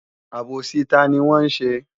Àbòsí tani wọn ṣe?